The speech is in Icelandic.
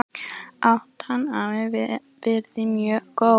Átan hafi verið mjög góð